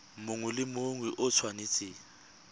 mongwe le mongwe o tshwanetse